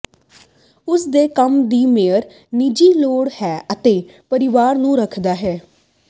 ਉਸ ਦੇ ਕੰਮ ਦੀ ਮੇਅਰ ਨਿੱਜੀ ਲੋੜ ਹੈ ਅਤੇ ਪਰਿਵਾਰ ਨੂੰ ਰੱਖਦਾ ਹੈ